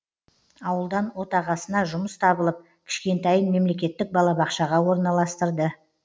ауылдан отағасына жұмыс табылып кішкентайын мемлекеттік балабақшаға орналастырды